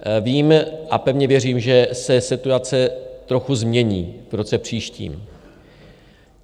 Vím a pevně věřím, že se situace trochu změní v roce příštím.